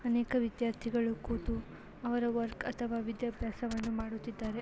ಅನೇಕ ವಿದ್ಯಾರ್ಥಿಗಳು ಕೂತು ಅವರ ವರ್ಕ್ ಅಥವಾ ವಿದ್ಯಾಭ್ಯಾಸವನ್ನು ಮಾಡುತ್ತಿದ್ದಾರೆ.